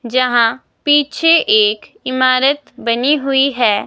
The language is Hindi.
जहां पीछे एक इमारत बनी हुई हैं।